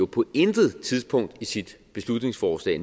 på intet tidspunkt i sit beslutningsforslag